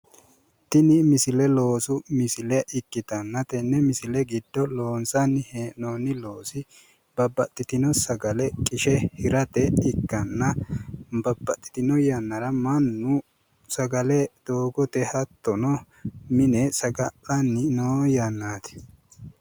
Tini misile loosu misile ikkitanna tenne misile giddo loonsanni hee'noonni loosi babbaxxitino sagale qishe hirate ikkanna babbaxxitino yannara mannu sagale doogote hattono mine saga'linanni noo yannaati.